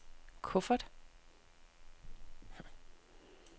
kuffert